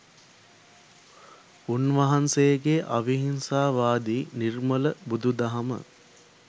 උන්වහන්සේගේ අවිහිංසාවාදී නිර්මල බුදු දහම